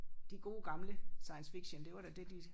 De gode gamle science fiction det var da det de